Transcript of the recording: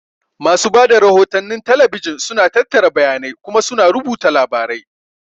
Masu ba da rahotannin talabijin suna tattara bayanai kuma suna rubuta labarai.